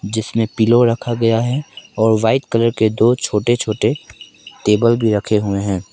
जिसने पिलो रखा गया है और वाइट कलर के दो छोटे छोटे टेबल भी रखे हुए हैं।